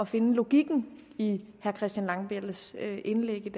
finde logikken i herre christian langballes indlæg i